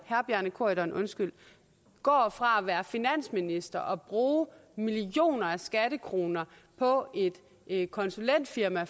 herre bjarne corydon går fra at være finansminister og bruge millioner af skattekroner på et konsulentfirma